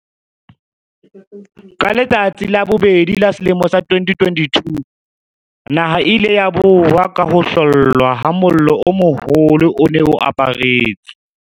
Ka letsatsi la bobedi la selemo sa 2022, naha e ile ya boha ka ho hlollwa ha mollo o moholo o ne o aparetse.